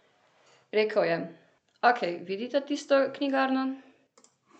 Rekel je: 'Ok, vidita tisto knjigarno?